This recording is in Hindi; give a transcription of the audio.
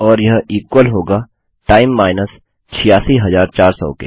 और यह इक्वल होगा टाइम माइनस 86400 के